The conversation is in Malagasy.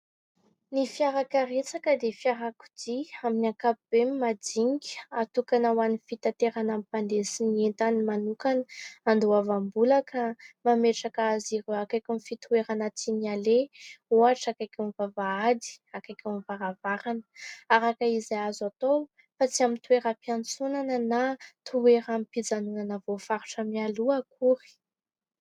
Ny fiarakaretsaka dia fiarakodia amin'ny ankapobeny majinika atokana ho an'ny fitaterana ny mpandeha sy ny entany manokana. Andoavam-bola ka mametraka azy ireo akaikin'ny fitoerana tiany aleha, ohatra akaikin'ny vavahady, akaikin'ny varavarana araka izay azo atao, fa tsy amin'ny toeram-piantsonana na toeram-pijanonana voafaritra mialoha akory.